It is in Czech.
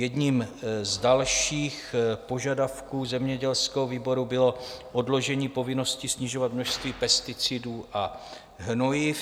Jedním z dalších požadavků zemědělského výboru bylo odložení povinnosti snižovat množství pesticidů a hnojiv.